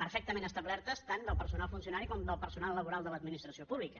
perfectament establertes tant del personal funcionari com del personal laboral de l’administració pública